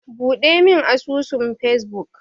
Buɗemin asusun Facebook.